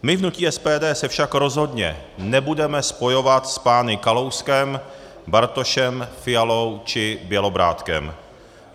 My v hnutí SPD se však rozhodně nebudeme spojovat s pány Kalouskem, Bartošem, Fialou či Bělobrádkem.